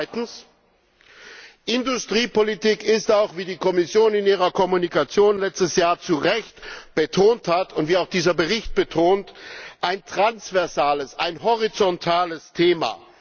Zweitens Industriepolitik ist auch, wie die Kommission in ihrer Kommunikation letztes Jahr zu Recht betont hat und wie auch dieser Bericht betont, ein transversales, ein horizontales Thema.